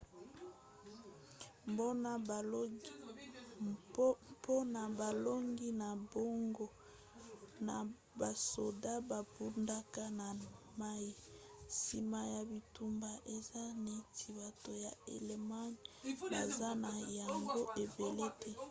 mpona bolongi na bango na basoda babundaka na mai nsima ya bitumba eza neti bato ya allemagne baza na yango ebele te